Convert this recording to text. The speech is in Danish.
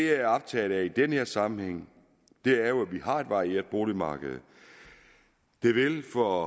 er optaget af i den her sammenhæng er jo at vi har et varieret boligmarked det vil for